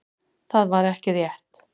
Það var ekki rétt.